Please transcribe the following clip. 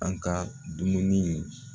An ka dumuni